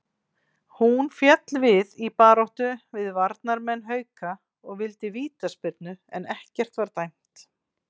Hún féll við í baráttu við varnarmenn Hauka og vildi vítaspyrnu en ekkert var dæmt.